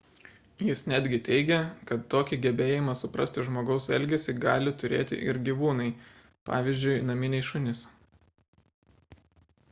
jis netgi teigia kad tokį gebėjimą suprasti žmogaus elgesį gali turėti ir gyvūnai pavyzdžiui naminiai šunys